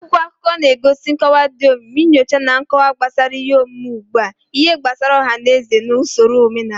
Akwụkwọ akụkọ na-enye nkọwa dị omimi, nyocha na nkọwa gbasara ihe omume ugbu a, ihe gbasara ọha na eze na usoro omenala.